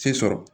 Se sɔrɔ